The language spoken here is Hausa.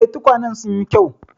Eh, tukwanen sun yi kyau.